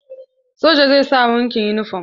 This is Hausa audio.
Sojan zai sa ni wanke yunifom.